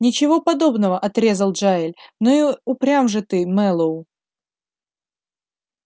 ничего подобного отрезал джаиль ну и упрям же ты мэллоу